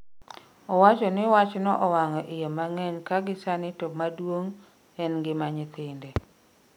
Owacho ni wachno owang'o iye mang'eny ka gi sani to maduong en ngima nyithinde